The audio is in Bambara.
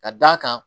Ka d'a kan